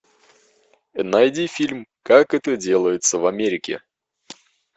найди фильм как это делается в америке